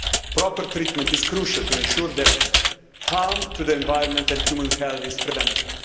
Proper treatment is crucial to ensure that harm to the environment and human health is prevented.